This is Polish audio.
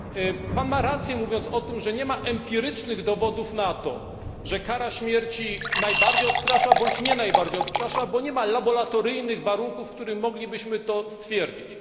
Ma Pan rację, mówiąc, że nie ma empirycznych dowodów na to, że kara śmierci najbardziej odstrasza bądź nie odstrasza, bo nie ma laboratoryjnych warunków, w których moglibyśmy to stwierdzić.